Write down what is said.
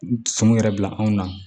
Sun yɛrɛ bila anw na